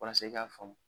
Walasa i k'a faamu